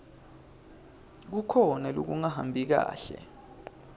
kukhona lokungahambi kahle